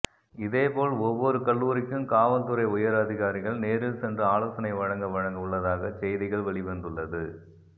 இதேபோல் ஒவ்வொரு கல்லூரிக்கும் காவல்துறை உயர் அதிகாரிகள் நேரில் சென்று ஆலோசனை வழங்க வழங்க உள்ளதாக செய்திகள் வெளிவந்துள்ளது